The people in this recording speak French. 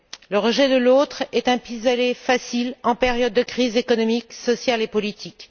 Le rejet de l'autre est un pis aller facile en période de crise économique, sociale et politique.